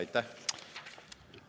Aitäh!